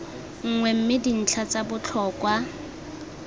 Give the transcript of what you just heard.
nngwe mme dintlha tsa botlhokwa